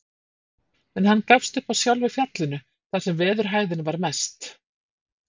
En hann gafst upp á sjálfu fjallinu, þar sem veðurhæðin var mest.